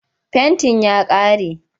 Fentin ya ƙare.